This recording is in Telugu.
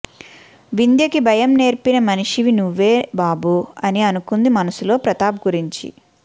వింధ్య కి భయం నేర్పిన మనిషివి నువ్వే బాబు అని అనుకుంది మనసులో ప్రతాప్ గురించి